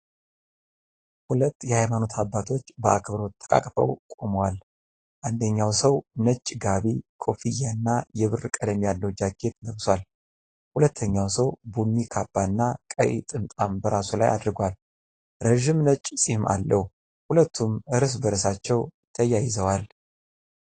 ሁለት የሀይማኖት አባቶች በአክብሮት ተቃቅፈው ቆመዋል። አንደኛው ሰው ነጭ ጋቢ፣ ኮፍያ እና የብር ቀለም ያለው ጃኬት ለብሷል። ሁለተኛው ሰው ቡኒ ካባና ቀይ ጥምጣም በራሱ ላይ አድርጓል፤ ረጅም ነጭ ፂም አለው። ሁለቱም እርስ በእርሳቸው ተያይዘዋል።